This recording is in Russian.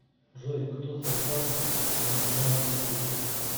джой кто создал енохианский язык